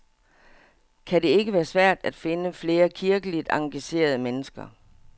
Kan det ikke være svært at finde flere kirkeligt engagerede mennesker?